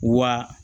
Wa